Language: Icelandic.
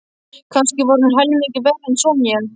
Kannski var hún helmingi verri en Sonja.